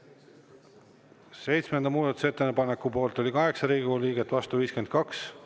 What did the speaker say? Seitsmenda muudatusettepaneku poolt oli 8 Riigikogu liiget, vastu 52.